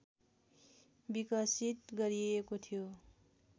विकसित गरिएको थियो